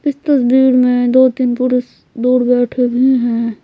इस तस्वीर में दो-तीन पुरुष दूर बैठे हुए हैं।